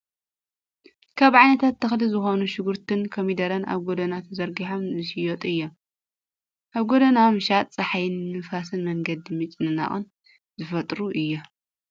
ካብ ዓይነታት ተክሊ ዝኮኑ ሽጉርትን ኮሚደረን ኣብ ጎደና ተዘረጊሖም ዝሽየጡ እዮም ። ኣብ ጎደና ምሻጥ ፀሓይን ንፍስን መንገዲ ምጭንናቅን ዝፈጥሩ እዮም ።